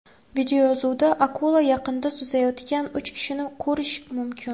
Videoyozuvda akula yaqinida suzayotgan uch kishini ko‘rish mumkin.